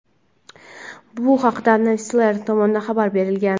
Bu haqda "Newsflare" tomonidan xabar berilgan.